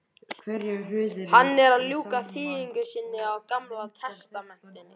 Hann er að ljúka þýðingu sinni á gamla testamentinu.